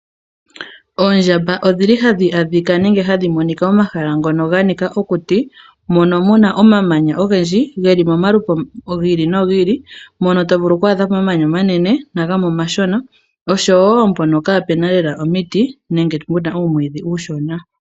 Oondjamba odhili hadhi adhika nenge hadhi adhika momahala ngono ganika okuti, mono muna omamanya ogendji, geli momalupe gi ili nogi ili, mono tovulu oku adhamo omamanya omanene nomashona, noshowo mpono kaapuna nande omwiidhi, nenge puna uumwiidhi uushona.